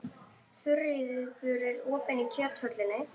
Þuríður, er opið í Kjöthöllinni?